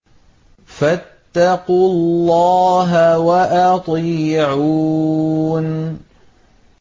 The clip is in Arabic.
فَاتَّقُوا اللَّهَ وَأَطِيعُونِ